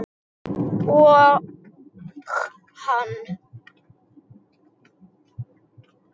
Og hann.